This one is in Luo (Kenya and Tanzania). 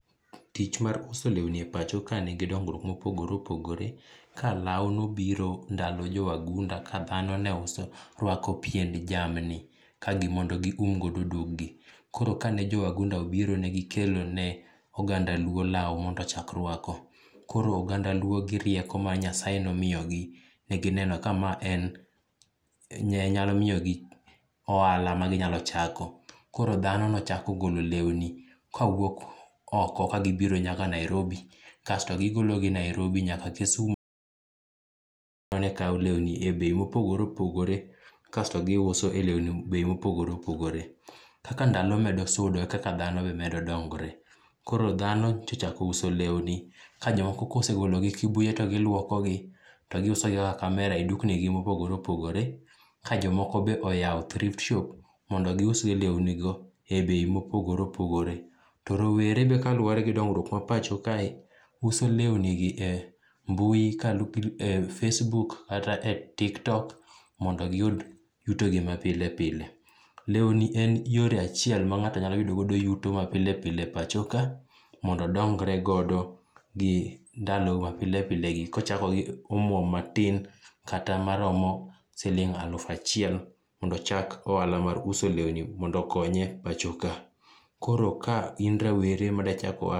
Tich mar uso lewni e pacho kae nigi dongruok ma opogore opogore. Ka lau nobiro ndalo jo wagunda ka dhano neuso, rwako pien jamni. Kagi, mondo gium godo duong'gi. Koro ka ne jowagunda obiro, negikelo ne oganda luo lau mondo ochak rwako. Koro oganda luo gi rieko ma Nyasaye nomiyo gi, negineno ka mae en nyalo miyo gi ohala ma ginyalo chako. Koro dhano nochako golo lewni kawuok oko ka gibiro nyaka Nairobi. Kasto gigolo gi Nairobi nyaka Kisumu mane kawo lewni e bei mopogore opogore. Kasto gi giuso be lewni e bei ma opogor opogore. Kaka ndalo medo sudo e kaka dhano be medo dongore. Koro dhano ti ochako uso lewni ka jomoko ka osegolo gi Kibuye to gilwoko gi to giuse gi kaka camera e dukni gi mopogroe opogore. Ka jomoko be oyao thrift shop mondo giuse lewni go e bei mopogore opogore. To rowere be kaluwore gi dongruok ma pacho kae, uso lewni gi e mbui e facebook kat e tiktok mondo giyud yuto gi ma pile pile. Lewni en yore achiel ma ngáto nyalo yudogo yuto mapile pile pacho ka mondo odongre godo gi ndalo ma pile pile gi kochako gi omwom matin, kata maromo siling aluf achiel. Mondo ochak ohala mar uso lewni mondo okonye e pacho ka. Koro ka in rawere ma dwa chako ohala.